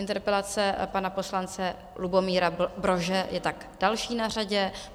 Interpelace pana poslance Lubomíra Brože je tak další na řadě.